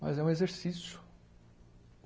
Mas é um exercício.